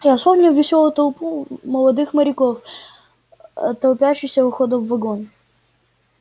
я вспомнил вёселую толпу молодых моряков аа толпящуюся у входа в вагон